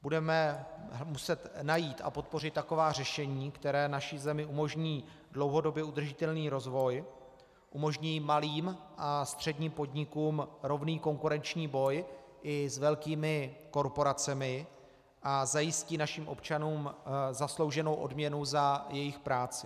Budeme muset najít a podpořit taková řešení, která naší zemi umožní dlouhodobě udržitelný rozvoj, umožní malým a středním podnikům rovný konkurenční boj i s velkými korporacemi a zajistí našim občanům zaslouženou odměnu za jejich práci.